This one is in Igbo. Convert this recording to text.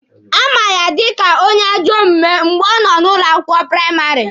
A ma ya dika onye ajọ omume mgbe ọ nọ ụlọ akwụkwọ praịmarị.